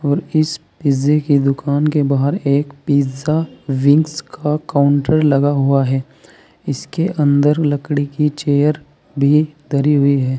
और इस पिज़्ज़े की दुकान के बाहर एक पिज़्ज़ा विंग्स का काउंटर लगा हुआ है इसके अंदर लकड़ी की चेयर भी धरी हुई है।